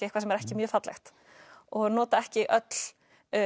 eitthvað sem er ekki mjög fallegt og nota ekki öll